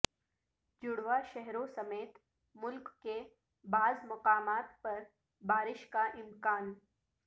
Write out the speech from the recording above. جڑواں شہروں سمیت ملک کے بعض مقامات پر بارش کا امکان